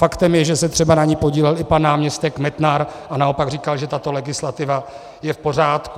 Faktem je, že se třeba na ní podílel i pan náměstek Metnar a naopak říkal, že tato legislativa je v pořádku.